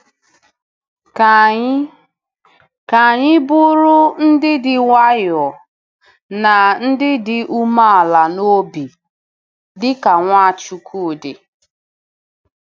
Ka anyị Ka anyị bụrụ “ndị dị nwayọọ na ndị dị umeala n’obi,” dị ka Nwachukwu dị.